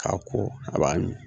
A ko a b'a